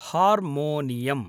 harmonium